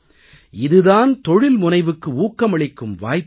இது தான் தொழில்முனைவுக்கு ஊக்கமளிக்கும் வாய்ப்பு